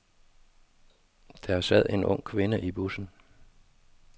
Der sad en ung kvinde i bussen.